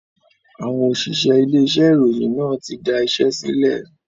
Àwọn òṣìṣẹ́ ilé iṣẹ́ ìròyìn náà tí da iṣẹ́ sílẹ̀